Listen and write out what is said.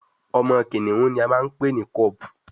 Omo kìnìún ní a npè ní cub